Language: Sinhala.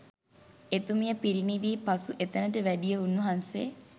එතුමිය පිරිනිවී පසු එතැනට වැඩිය උන්වහන්සේ